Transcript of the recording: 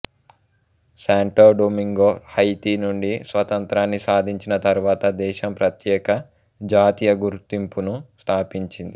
శాంటో Domingo Haiti నుండి స్వతంత్రాన్ని సాధించిన తరువాత దేశం ప్రత్యేక జాతీయ గుర్తింపును స్థాపించింది